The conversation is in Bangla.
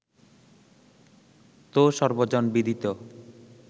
তো সর্বজনবিদিত